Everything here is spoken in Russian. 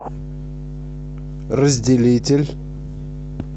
разделитель